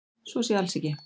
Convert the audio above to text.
Svo sé alls ekki